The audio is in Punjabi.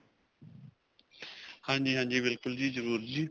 ਹਾਂਜੀ, ਹਾਂਜੀ. ਬਿਲਕੁਲ ਜੀ ਜਰੁਰ ਜੀ.